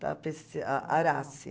Tapece a Arace.